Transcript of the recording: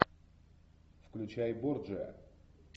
включай борджиа